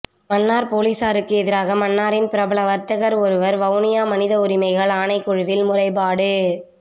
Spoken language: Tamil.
மன்னார் பொலிஸாருக்கு எதிராக மன்னாரின் பிரபல வர்த்தகர் ஒருவர் வவுனியா மனித உரிமைகள் ஆணைக்குழுவில் முறைப்பாடு